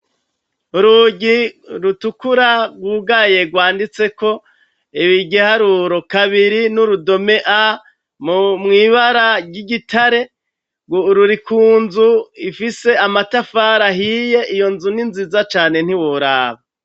Urugi rutukura rwugaye rwanditseko igiharuro kabiri n'urudome a mwibara ry'igitare, ruri ku nzu ifise amatafari ahiye, iyo nzu ni nziza cane ntiworaba.